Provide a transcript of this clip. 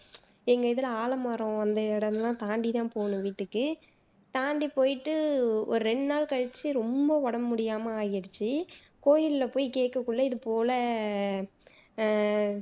எங்க இதுல ஆலமரம் உள்ள இடமெல்லாம் தாண்டி தான் போகணும் வீட்டுக்கு தாண்டி போயிட்டு ஒரு ரெண்டு நாள் கழிச்சு ரொம்ப உடம்பு முடியாம ஆயிடுச்சு கோயில்ல போயி கேக்கக்குள்ள இது போல ஆஹ்